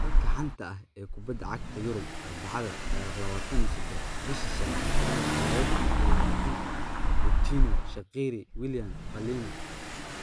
Wararka xanta ah ee kubada cagta Yurub Arbacada 27.05.2020: Coutinho, Shaqiri, Willian, Palhinha